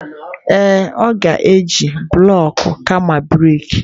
Ee, ọ ga-eji bụlọk kama brik.